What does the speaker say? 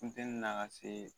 Funtɛni na ka se